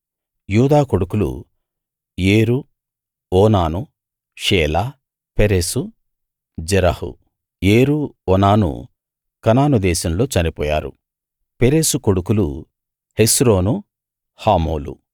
యూదా కొడుకులు ఏరు ఓనాను షేలా పెరెసు జెరహు ఏరు ఓనాను కనాను దేశంలో చనిపోయారు పెరెసు కొడుకులు హెస్రోను హామూలు